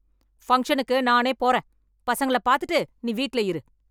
ஃபங்ஷனுக்கு நானே போறேன். பசங்கள பாத்துட்டு நீ வீட்ல இரு.